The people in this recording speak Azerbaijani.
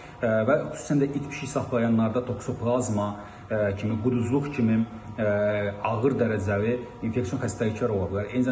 və xüsusən də it-pişik saxlayanlarda toksoplazma kimi, quduzluq kimi ağır dərəcəli infeksiyon xəstəliklər ola bilər.